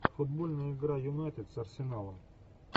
футбольная игра юнайтед с арсеналом